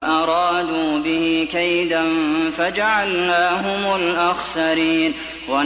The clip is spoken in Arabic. وَأَرَادُوا بِهِ كَيْدًا فَجَعَلْنَاهُمُ الْأَخْسَرِينَ